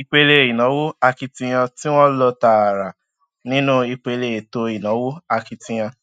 ìpele ìnáwó akitiyan tí wọn lò tààrà nínú ìpele ètò ìnáwó akitiyan